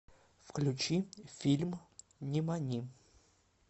включи фильм нимани